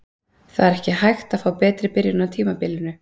Það er ekki hægt að fá betri byrjun á tímabilinu.